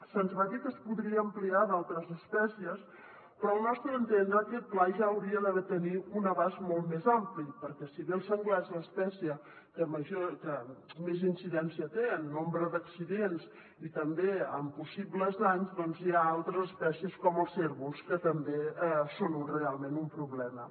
se’ns va dir que es podria ampliar a d’altres espècies però al nostre entendre aquest pla ja hauria de tenir un abast molt més ampli perquè si bé el senglar és l’espècie que més incidència té en nombre d’accidents i també en possibles danys hi ha altres es·pècies com els cérvols que també són realment un problema